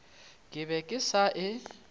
ke be ke sa e